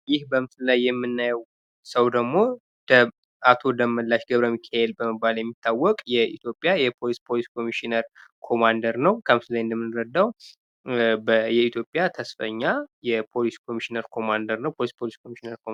ይህ በምስሉ ላይ የምናየው ሰው ደግሞ አቶ ደመላሽ ገብረሚካኤል በመባል የሚታወቅ የኢትዮጵያ የፖሊስ ኮሚሽነር ኮማንደር ነው:: ከምስሉ ላይ እንደምንረዳው የኢትዮጵያ ተስፈኛ የፖሊስ ኮሚሽነር ኮማንደር ነው::